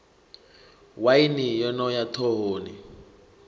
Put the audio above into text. waini yo no ya ḓhohoni